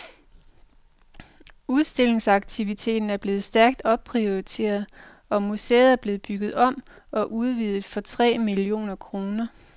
Udstillingsaktiviteten er blevet stærkt opprioriteret, og museet er blevet bygget om og udvidet for tre millioner kroner.